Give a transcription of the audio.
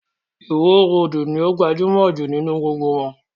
Ìwo roòdù ní o gbajúmọ̀ jù nínú gbogbo wọn.